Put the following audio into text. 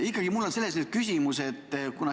Ikkagi on mul nüüd küsimus.